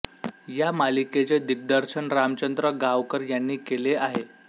या मालिकेचे दिग्दर्शन रामचंद्र गावकर यांनी केले आहे